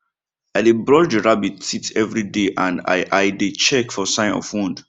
i dey brush the rabbit teeth every day and i i dey check for sign of wound